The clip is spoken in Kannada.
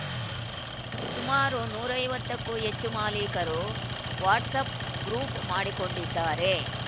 ಸುಮಾರು ನೂರ ಐವತ್ತಕ್ಕೂ ಹೆಚ್ಚು ಮಾಲಿಕರು ವಾಟ್ಸಪ್‌ ಗ್ರೂಫ್ ಮಾಡಿಕೊಂಡಿದ್ದಾರೆ